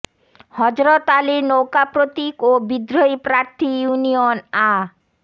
হযরত আলীর নৌকা প্রতীক ও বিদ্রোহী প্রার্থী ইউনিয়ন আ